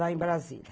Lá em Brasília.